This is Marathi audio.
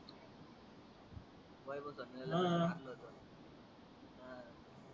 मारल होत हा